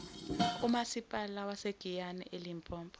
umasipala wasegiyani elimpopo